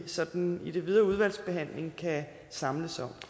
sådan i den videre udvalgsbehandling kan samles om